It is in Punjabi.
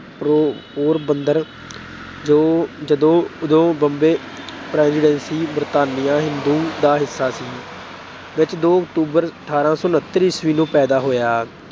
ਪਰੋ ਅਹ ਪੋਰਬੰਦਰ ਜੋ ਉਦੋਂ Bombay Presidency ਬਰਤਾਨਵੀ ਹਿੰਦੋਸਤਾਨ ਦਾ ਹਿੱਸਾ ਸੀ ਵਿੱਚ ਦੋ October ਅਠਾਰਾਂ ਸੌ ਉਨੱਤਰ ਈਸਵੀ ਨੂੰ ਪੈਦਾ ਹੋਇਆ।